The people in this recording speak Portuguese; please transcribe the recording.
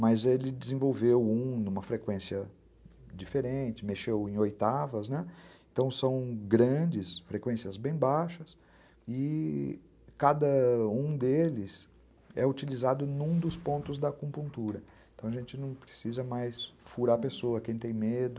mas ele desenvolveu um uma frequência diferente, mexeu em oitavas, né, então são grandes frequências bem baixas e... cada um deles é utilizado em um dos pontos da acupuntura, então a gente não precisa mais furar a pessoa, quem tem medo,